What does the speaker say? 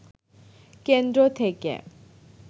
কেন্দ্র থেকে